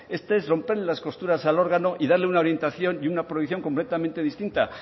esto es romperle las costuras al órgano y darle una orientación y una prohibición completamente distinta